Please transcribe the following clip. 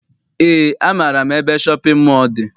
Eé, amaara m ebe shọpịn mọọ dị.